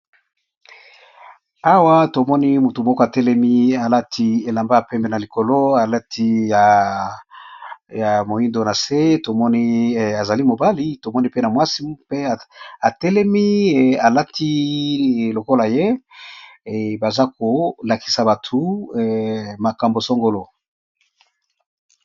Awa tomoni Mutu Moko Alati elamba ya pembe